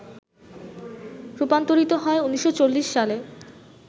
রূপান্তরিত হয় ১৯৪০ সালে